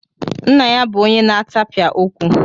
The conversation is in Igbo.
Nna ya bụ onye na-atapịa okwu.